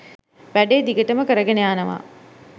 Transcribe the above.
වැඩේ දිගටම කරගෙන යනවා